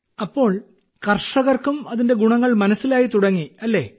അപ്പോൾ കർഷകർക്കും അതിന്റെ ഗുണങ്ങൾ മനസ്സിലായിത്തുടങ്ങിയല്ലേ